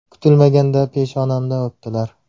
Kutilmaganda peshonamdan o‘pdilar.